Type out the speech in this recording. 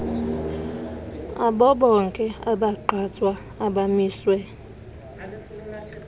abobonke abagqatswa abamiswe